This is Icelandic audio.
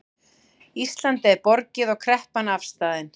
Íslandi er borgið og kreppan afstaðin